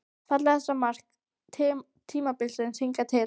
Fallegasta mark tímabilsins hingað til?